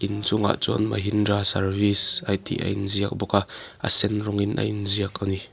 inchungah chuan mahindra service a tih a inziak bawk a a sen rawngin a in ziak ani.